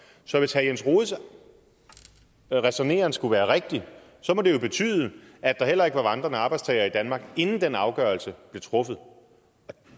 så hvis herre jens rohdes ræsonnement skulle være rigtigt må det jo betyde at der heller ikke var vandrende arbejdstagere i danmark inden den afgørelse blev truffet